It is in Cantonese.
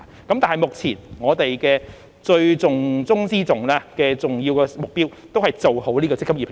但是，目前我們的重中之重，最重要的目標，仍是先做好"積金易"平台。